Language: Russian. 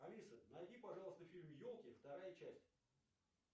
алиса найди пожалуйста фильм елки вторая часть